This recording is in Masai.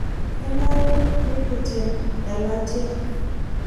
kenare nikiten elatia